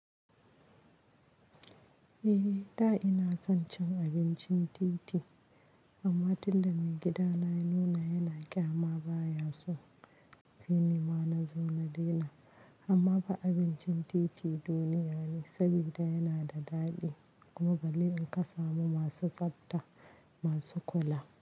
Eh, da ina son cin abincin titi amma tunda maigidana ya nuna yana ƙyama baya so, sai ni ma na zo na daina. Amma fa abincin titi duniya ne saboda yana da daɗi kuma balle in ka samu masu tsafta masu kula.